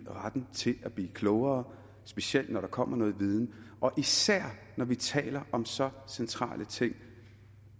retten til at blive klogere specielt når der kommer noget viden og især når vi taler om så centrale ting